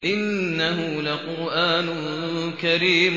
إِنَّهُ لَقُرْآنٌ كَرِيمٌ